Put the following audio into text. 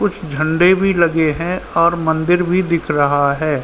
कुछ झंडे भी लगे हैं और मंदिर भी दिख रहा है|